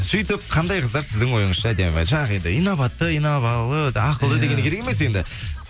сөйтіп қандай қыздар сіздің ойыңызша әдемі жаңағы енді инабатты инабалы ақылды дегені керек емес енді